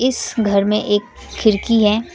इस घर में एक खिड़की है।